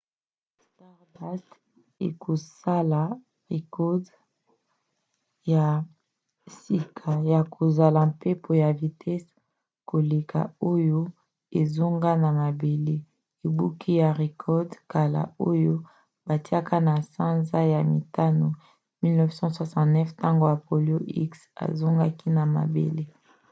stardust ekosala record ya sika ya kozala mpepo ya vitese koleka oyo ezonga na mabele ebuki record ya kala oyo batiaki na sanza ya mitano 1969 ntango apollo x azongaki na mabele